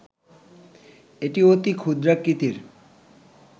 এটি অতি ক্ষুদ্রাকৃতির